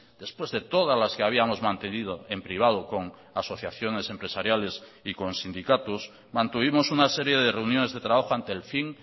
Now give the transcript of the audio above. después de todas las que habíamos mantenido en privado con asociaciones empresariales y con sindicatos mantuvimos una serie de reuniones de trabajo ante el fin